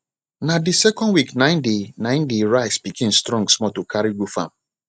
na dey second week nai dey nai dey rice pikin strong small to carry go farm